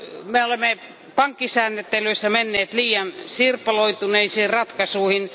Me olemme pankkisääntelyssä menneet liian sirpaloituneisiin ratkaisuihin.